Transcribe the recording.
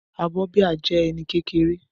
Abọ́ bíà jẹ́ ẹní kékeré